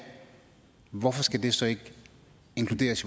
hvorfor skal det så ikke inkluderes